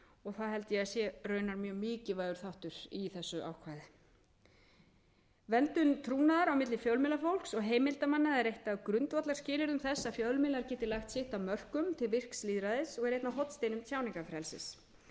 og það held ég að sé raunar mjög mikilvægur þáttur í þessu ákvæði verndun trúnaðar á milli fjölmiðlafólks og heimildarmanna er eitt af grundvallarskilyrðum þess að fjölmiðlar geti lagt sitt af mörkum til virks lýðræðis og er einn af hornsteinum tjáningarfrelsis